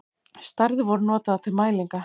Stærðir voru notaðar til mælinga.